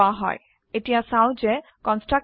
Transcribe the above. এইটোক নতুন অবজেক্টৰ তৈয়াৰ হোৱা সময়ত কল কৰা হয়